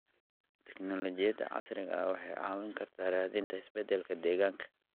Tignoolajiyada casriga ah waxay caawin kartaa raadinta isbedelada deegaanka.